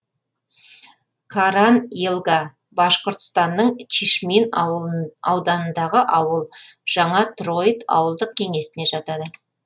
каран елга башқұртстанның чишмин ауданындағы ауыл жаңа троит ауылдық кеңесіне жатады